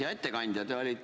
Hea ettekandja!